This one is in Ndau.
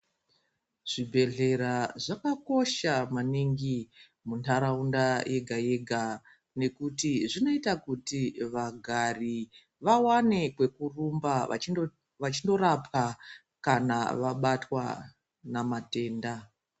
Zvibhehlera zvakakosha maningi muntaraunda yega-yega nekuti zvinoita kuti vagari vawane kwekurumba vachindorapwa kana vabatwa namatenda.